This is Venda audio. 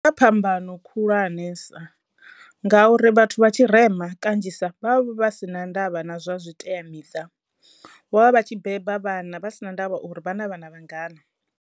Huna phambano khulwanesa nga uri vhathu vha tshirema kanzhisa vha vha si na ndavha na zwa zwiteamiṱa vho vha vha tshi beba vhana vha si na ndavha uri vha na vhana vhangana.